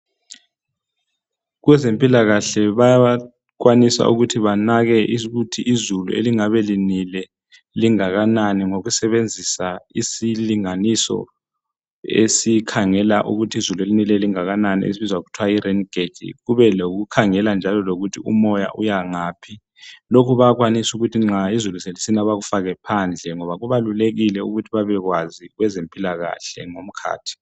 Kwezempilakahle bayakwanisa ukuthi banake ukuthi izulu elingabe linile lingakanani ngokusebenzisa isilinganiso esikhangela ukuthi izulu elinileyo lingakanani esibizwa ngokuthwa yiraingauge, kube lokukhangela njalo lokuthi umoya uyangaphi. Lokhu bayakwanisa ukuthi nxa izulu selisina bakufake phandle ngoba kubalulekile ukuthi babekwazi kwezempilakahle ngomkhathi.